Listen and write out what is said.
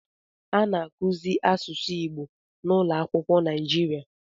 A na-akụzi asụsụ Igbo n'ụlọakwụkwọ Naịjirịa